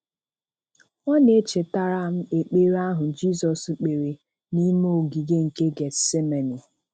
Ọ na-echetara m ekpere ahụ Jizọs kpere n'ime Ogige nke Gethsemane.